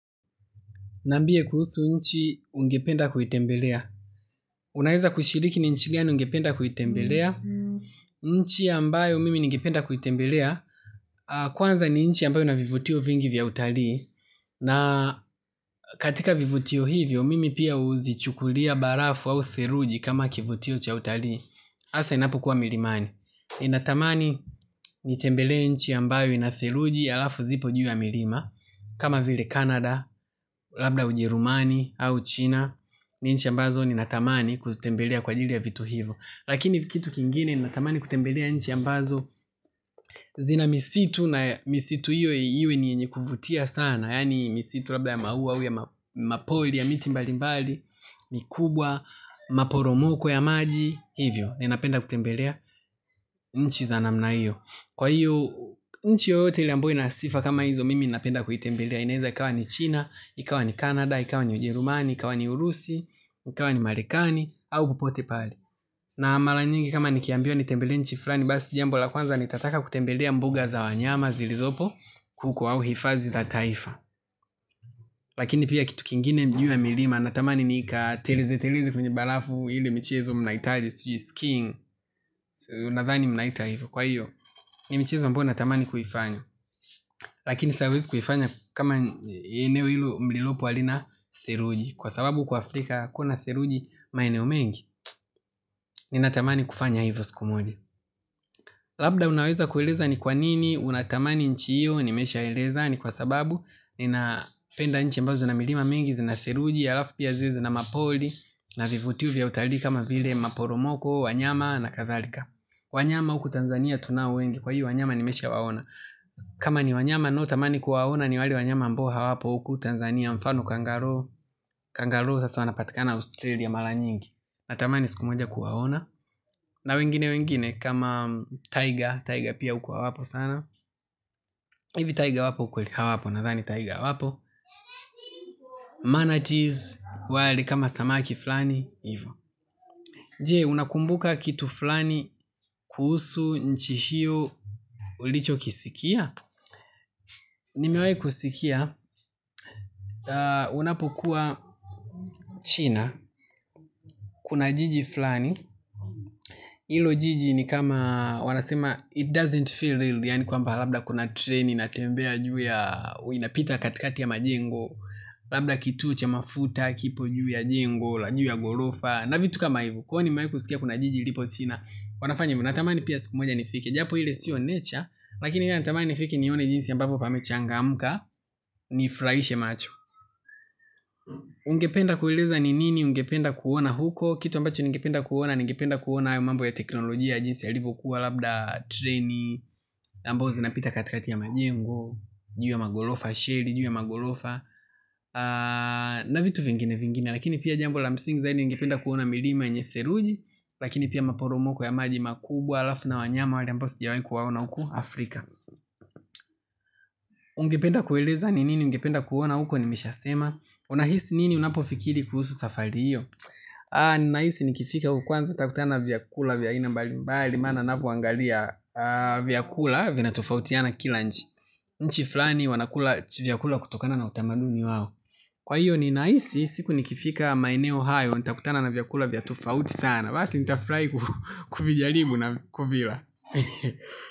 Nambie kuhusu inchi ungependa kuitembelea. Unaweza kushiriki ni inchi gani ungependa kuitembelea. Inchi ambayo mimi ningependa kuitembelea. Kwanza ni inchi ambayo ina vivutio vingi vya utalii. Na katika vivutio hivyo mimi pia huzichukulia barafu au seruji kama kivutio cha utalii hasa inapokuwa milimani. Ninatamani nitembele nchi ambayo ina theruji alafu zipo juu ya milima. Kama vile canada, labda ujerumani au china. Ni inchi ambazo ninatamani kuzitembelea kwa ajili ya vitu hivyo. Lakini kitu kingine ni natamani kutembelea inchi ambazo zina misitu na misitu hiyo hiyo ni yenye kuvutia sana. Yani misitu labda ya mauwa huya mapori ya miti mbali mbali mikubwa, maporomoko ya maji hivyo, ni napenda kutembelea inchi za namna hiyo. Kwa hiyo, nchi yoyote ile ambayo ina sifa kama hizo mimi napenda kutembelea. Inaweza ikawa ni China, ikawa ni Canada, ikawa ni Ujerumani, ikawa ni Urusi, ikawa ni Marekani, au popote pale na mara nyingi kama nikiambiwa nitembelee inchi fulani basi jambo la kwanza nitataka kutembelea mbuga za wanyama zilizopo huko au hifadhi za taifa. Lakini pia kitu kingine juu ya milima natamani nikateleze teleze kwenye barafu hili michezo mnaiita aje, sijui skiing nadhani mnaiita hifa. Kwa hiyo ni michezo ambayo natamani kuifanya lakini sasa hauwezi kuifanya kama eneo hilo mlilopo halina theruji kwa sababu huku africa hakuna theruji maeneo mengi. Ninatamani kufanya hivyo siku moja. Labda unaweza kueleza ni kwa nini. Unatamani inchi hiyo, nimesha eleza. Ni kwa sababu, ninapenda nchi ambazo zina milima mengi zina theruji, alafu pia ziwe zina mapori na vivutio vya utalii kama vile maporomoko, wanyama na kadhalika. Wanyama huku Tanzania tunao wengi. Kwa hiyo, wanyama nimesha waona. Kama ni wanyama ninao tamani kuwaona ni wale wanyama ambao hawapo huku Tanzania. Mfano Kangaroo Kangaroo sasa wanapatikana Australia mara nyingi. Natamani siku moja kuwaona. Na wengine wengine kama Tiger Tiger pia huku hawapo sana hivi Tiger wapo kweli hawapo nadhani Tiger hawapo wali kama samaki fulani hivo. Je unakumbuka kitu fulani kuhusu inchi hiyo ulicho kisikia. Nimewahi kusikia. Unapokuwa china. Kuna jiji fulani hilo jiji ni kama wanasema it doesn't feel real. Yaani kwamba labda kuna treni inatembea juu ya huwa inapita katikati ya majengo. Labda kituo cha mafuta. Kipo juu ya jengo la juu ya ghorofa na vitu kama hivo. Kwani nimewahi kusikia kuna jiji ipo china. Wanafanya hivo natamani pia sikumoja nifike. Japo ile sio nature. Lakini natamani nifike nione jinsi ambapo pamechangamka. Nifurahishe macho. Ungependa kueleza ni nini ungependa kuona huko. Kitu ambacho ningependa kuona ningependa kuona hayo mambo ya teknolojia jinsi yalivyo kuwa labda treni ambazo zinapita katikati ya majengo juu ya maghorofa sheli juu ya maghorofa na vitu vingine vingine. Lakini pia jambo la msing zaidi ningependa kuona milima yenye theruji. Lakini pia maporomoko ya maji makubwa alafu na wanyama wale ambao sijawaini kuwaona huku Afrika. Ungependa kueleza ni nini ungependa kuona huko ni meshasema unahisi nini unapofikiri kuhusu safari iyo ninahisi nikifika huko kwanza nitakutana vyakula vya aina mbali mbali maana napoangalia vyakula vinatofautiana kila inchi inchi fulani wanakula vyakula kutokana na utamaduni wao kwa hiyo ninahisi siku nikifika maeneo hayo nitakutana na vyakula vya tofauti sana basi nitafurahi kuvijaribu na kuvila.